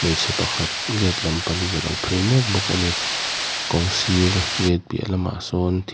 hmeichhe pakhat gate lam panin a lo phei mek bawk a ni kawng sir gate piah lamah sawn th --